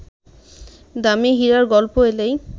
দামি হীরার গল্প এলেই